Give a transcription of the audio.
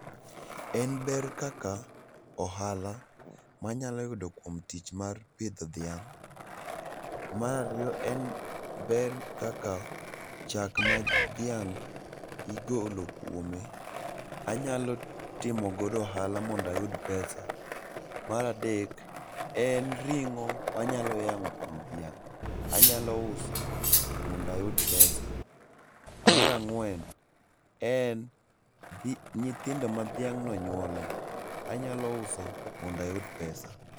En ber kaka ohala ma anyalo yudo kuom tich mar pitho dhiang', marariyo en ber kaka chak ma dhiang igolo kuome anyalo timo godo ohala mondo ayud pesa, maradek en ringo' manyalo yango' kuom dhiang' anyalo uso mondo ayud pesa, marang'wen en nyithindo ma dhiang'no nyuolo anyalo uso mondo ayud pesa.